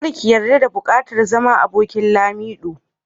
Kar ki yarda da bukatar zama abokin Lamido.